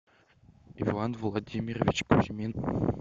иван владимирович кузьмин